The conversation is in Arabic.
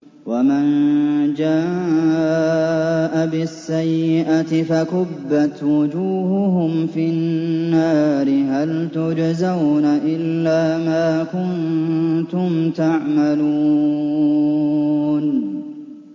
وَمَن جَاءَ بِالسَّيِّئَةِ فَكُبَّتْ وُجُوهُهُمْ فِي النَّارِ هَلْ تُجْزَوْنَ إِلَّا مَا كُنتُمْ تَعْمَلُونَ